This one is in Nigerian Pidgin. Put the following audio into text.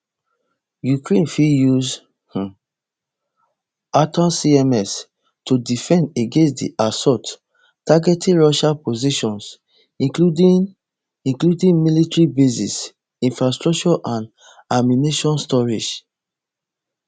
ukraine fit use um atacms to defend against di assault targeting russia positions including including military bases infrastructure and ammunition storage